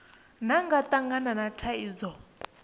vha nga tangana na thaidzo